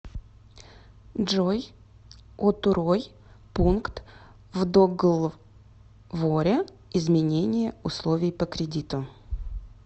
джой отурой пункт в доглворе изменение условий по кредиту